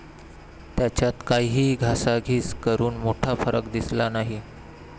त्यांच्यात काहीही घासाघीस करून मोठा फरक दिसला नाही.